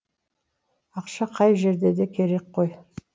ақша қай жерде де керек қой